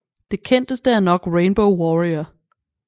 Det kendteste er nok Rainbow Warrior